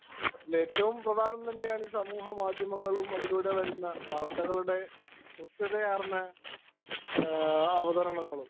Speaker 1 ഇതില് ഏറ്റവും പ്രധാനം തന്നെയാണ് സമൂഹ മാധ്യമങ്ങളും, അതിലൂടെ വരുന്നവാര്‍ത്തകളുടെ കൃത്യതയാര്‍ന്നഅവതരണങ്ങളും.